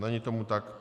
Není tomu tak.